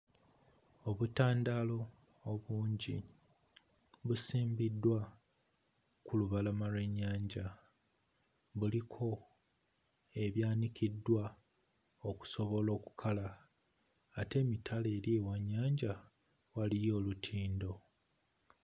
Obutandaalo obungi busimbiddwa ku lubalama lw'ennyanja. Buliko ebyanikiddwa okusobola okukala, ate emitala eri ewa nnyanja waliyo olutindo.